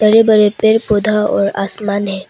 बड़े बड़े पेड़ पौधा और आसमान है।